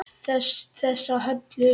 Þessa Höllu!